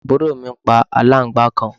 àbúrò mi pa aláǹgbàá kan